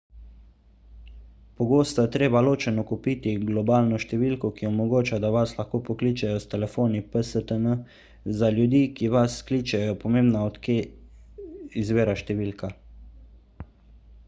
pogosto je treba ločeno kupiti globalno številko ki omogoča da vas lahko pokličejo s telefoni pstn za ljudi ki vas kličejo je pomembno od kje izvira številka